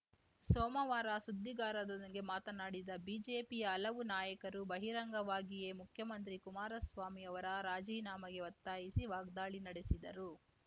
ಸೋಮವಾರ ಸುದ್ದಿಗಾರರೊಂದಿಗೆ ಮಾತನಾಡಿದ ಬಿಜೆಪಿಯ ಹಲವು ನಾಯಕರು ಬಹಿರಂಗವಾಗಿಯೇ ಮುಖ್ಯಮಂತ್ರಿ ಕುಮಾರಸ್ವಾಮಿ ಅವರ ರಾಜೀನಾಮೆಗೆ ಒತ್ತಾಯಿಸಿ ವಾಗ್ದಾಳಿ ನಡೆಸಿದರು